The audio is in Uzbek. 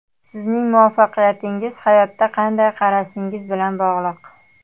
Sizning muvaffaqiyatingiz hayotga qanday qarashingiz bilan bog‘liq.